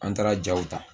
An taara jaw ta